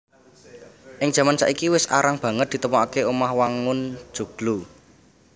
Ing jaman saiki wis arang banget ditemokaké omah wangun joglo